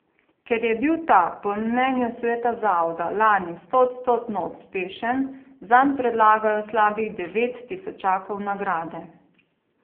Ker je bil ta po mnenju sveta zavoda lani stoodstotno uspešen, zanj predlagajo slabih devet tisočakov nagrade.